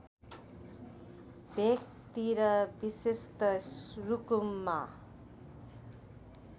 भेकतिर विशेषत रुकुममा